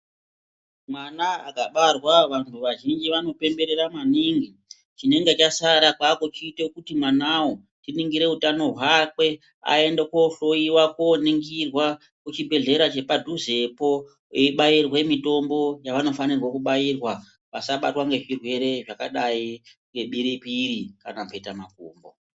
Mwana akabarwa vantu vazhinji vanopemberera maningi, chinenge chasara kwakuchita kuti mwanawo tiningire utano hwakwe ayende kohloyiwa koningirwa kucbibhehlera chepadhuzepo eyibairwa mitombo yavanofanirwa kubairwa vasabatwa ngezvirwere zvakadai ngebiripiri kana kuita makumbo.